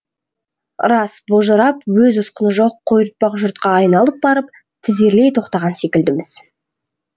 рас божырап өз ұсқыны жоқ қойыртпақ жұртқа айналып барып тізерлей тоқтаған секілдіміз